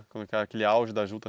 Naquele auge da juta